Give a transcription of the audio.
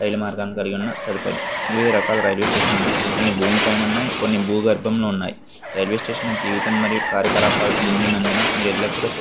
రైలు మార్గాన కలిగి ఉన్న సదుపాయం. వివిధ రకాల రైల్వే స్టేషన్ లు ఉన్నాయి. కొన్ని భూమి పైన కొన్ని భూ గర్భలో ఉన్నాయి. రైల్వే స్టేషన్ లా జీవితం మరియు కార్యకళాపాలతో నిండి నందున మీరు ఎల్లప్పుడూ--